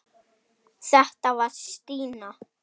Þetta var Stína.